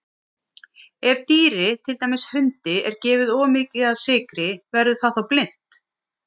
Ef dýri, til dæmis hundi, er gefið of mikið af sykri verður það þá blint?